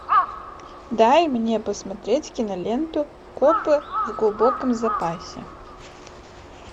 дай мне посмотреть киноленту копы в глубоком запасе